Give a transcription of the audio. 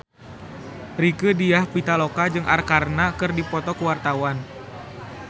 Rieke Diah Pitaloka jeung Arkarna keur dipoto ku wartawan